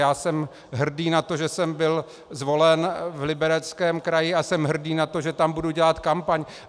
Já jsem hrdý na to, že jsem byl zvolen v Libereckém kraji, a jsem hrdý na to, že tam budu dělat kampaň.